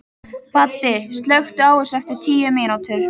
Baddi, slökktu á þessu eftir tíu mínútur.